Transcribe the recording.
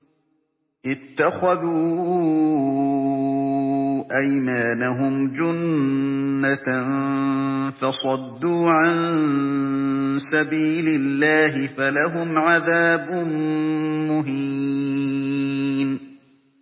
اتَّخَذُوا أَيْمَانَهُمْ جُنَّةً فَصَدُّوا عَن سَبِيلِ اللَّهِ فَلَهُمْ عَذَابٌ مُّهِينٌ